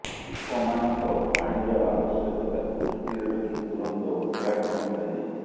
ଲୋକମାନଙ୍କ ପାଣିର ଆବଶ୍ୟକତାକୁ ଦୃଷ୍ଟିରେ ରଖି ତୁରନ୍ତ ଉଦ୍ଘାଟନ କରାଯାଇଛି